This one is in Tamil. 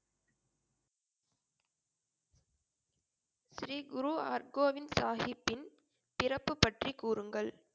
ஸ்ரீ குரு ஹர்கோபிந்த் சாஹிப்பின் பிறப்பு பற்றி கூறுங்கள்